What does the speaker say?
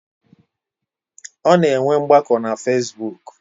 Ọ na enwe ngbako na fesibuk